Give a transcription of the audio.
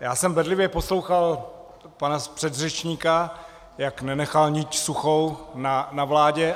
já jsem bedlivě poslouchal pana předřečníka, jak nenechal niť suchou na vládě.